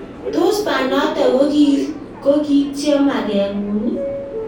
Tos banato ko kityo magengung?